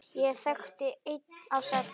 Ég þekkti einn af sex!